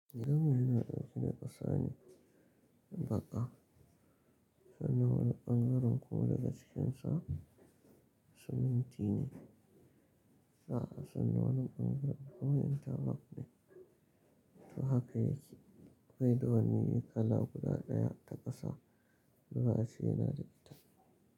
Gidanmu yana ɗauke da ƙasa ne baƙa, sannan wani ɓangaren kuma daga cikinsa, siminti ne. Za'a sani wani ɓangaren kuma intalok ne. To haka yake. Baida wani kala guda ɗaya ta ƙasa, da za'ace yana da ita.